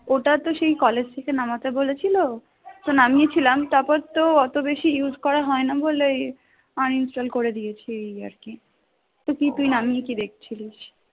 ওটা তো সেই college থেকে নামাতে বলেছিল তো নামেই ছিলাম তারপর তো এত বেশি use করা হয় না বলে uninstall করে দিয়েছে এই আর কি তো তুই নামিয়ে কি দেখছিলিস?